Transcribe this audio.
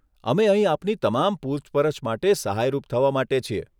અમે અહીં આપની તમામ પૂછપરછ માટે સહાયરૂપ થવા માટે છીએ.